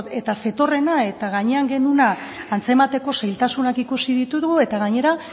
eta zetorrena eta gainean genuena antzemateko zailtasunak ikusi ditugu eta gainera